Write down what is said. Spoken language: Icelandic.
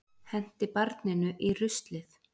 Henti barninu í ruslið